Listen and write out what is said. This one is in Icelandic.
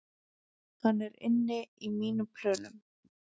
Hann er inni í mínum plönum